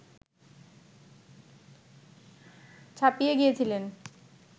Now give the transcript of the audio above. ছাপিয়ে গিয়েছিলেন